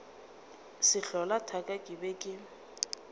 sehlola thaka ke be ke